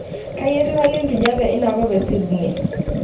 kai etiu hali enkijape inakop e sydney